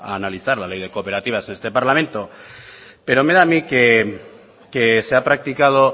analizar la ley de cooperativas en este parlamento pero me da a mí que se ha practicado